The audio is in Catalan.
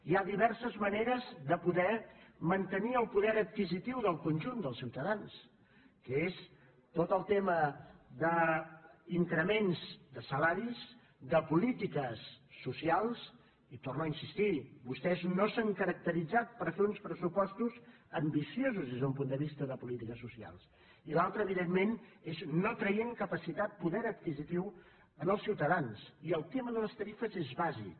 hi ha diverses maneres de poder mantenir el poder adquisitiu del conjunt dels ciutadans que és tot el tema d’increments de salaris de polítiques socials hi torno a insistir vostès no s’han caracteritzat per fer uns pressupostos ambiciosos des d’un punt de vista de polítiques socials i l’altra evidentment és no traient capacitat poder adquisitiu als ciutadans i el tema de les tarifes és bàsic